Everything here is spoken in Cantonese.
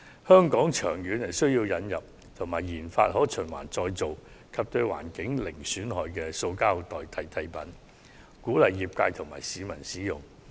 香港長遠而言有需要引入及研發可循環再造、對環境零損害的塑膠代替品，鼓勵業界及市民使用。